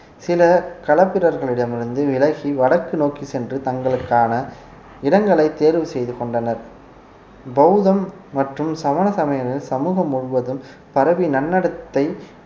சில களப்பிரர்களிடம் இருந்து விலகி வடக்கு நோக்கி சென்று தங்களுக்கான இடங்களை தேர்வு செய்து கொண்டனர் பௌத்தம் மற்றும் சமண சமயங்கள் சமூகம் முழுவதும் பரவி நன்னடத்தை